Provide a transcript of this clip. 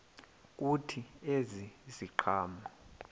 kuthi ezi ziqhamo